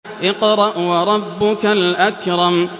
اقْرَأْ وَرَبُّكَ الْأَكْرَمُ